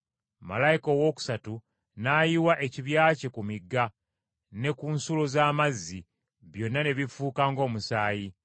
Malayika owookusatu n’ayiwa ekibya kye ku migga ne ku nsulo z’amazzi, byonna ne bifuuka ng’omusaayi.